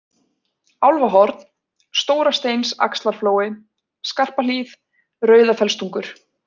Álfahorn, Stórasteinsaxlarflói, Skarpahlíð, Rauðafellstungur